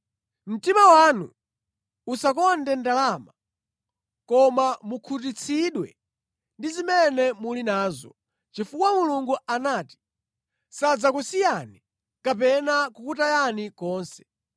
Mtima wanu usakonde ndalama koma mukhutitsidwe ndi zimene muli nazo, chifukwa Mulungu anati, “Sadzakusiyani, kapena kukutayani konse.”